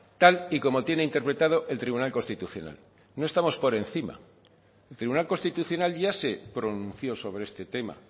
tal y como tiene interpretado el tribunal constitucional no estamos por encima el tribunal constitucional ya se pronunció sobre este tema